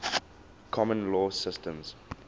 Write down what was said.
common law systems